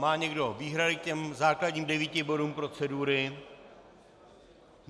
Má někdo výhrady k těm základním devíti bodům procedury?